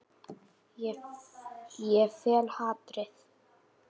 Sem er synd og skömm.